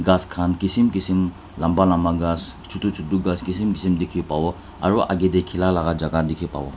Ghas khan kisim kisim lamba lamba ghas chutu chutu ghas kisim kisim dekhey pavo aro agey dae khila la jaka dekhey pavo.